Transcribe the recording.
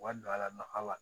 Wari don a la nafa